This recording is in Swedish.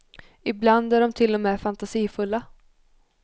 Ibland är de till och med fantasifulla.